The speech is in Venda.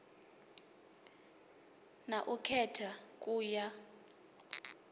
na u khetha ku ya